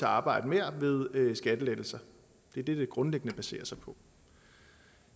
arbejde mere ved skattelettelser det er det det grundlæggende baserer sig på